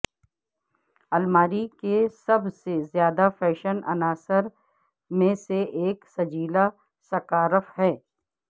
الماری کے سب سے زیادہ فیشن عناصر میں سے ایک سجیلا سکارف ہے